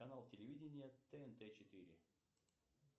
канал телевидения тнт четыре